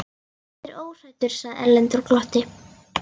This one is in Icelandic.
Ég er óhræddur, sagði Erlendur og glotti.